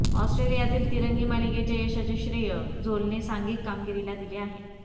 ऑस्ट्रेलियातील तिरंगी मालिकेच्या यशाचे श्रेय झोलने सांघिक कामगिरीला दिले आहे